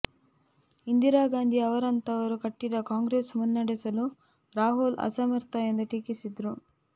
ಇಂದಿರಾಗಾಂಧಿ ಅವರಂಥವರು ಕಟ್ಟಿದ ಕಾಂಗ್ರೆಸ್ ಮುನ್ನಡೆಸಲು ರಾಹುಲ್ ಅಸಮರ್ಥ ಎಂದು ಟೀಕಿಸಿದರು